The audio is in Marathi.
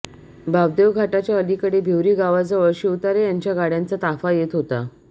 बापदेव घाटाच्या अलीकडे भिवरी गावाजवळ शिवतारे यांच्या गाड्यांचा ताफा येत होता